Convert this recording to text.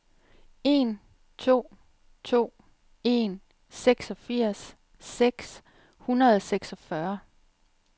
en to to en seksogfirs seks hundrede og seksogfyrre